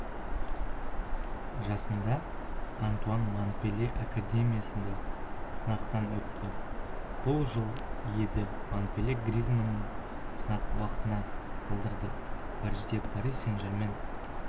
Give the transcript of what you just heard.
жасында антуан монпелье академиясында сынақтан өтті бұл жыл еді монпелье гризманнды сынақ уақытына қалдырды парижде пари-сен-жермен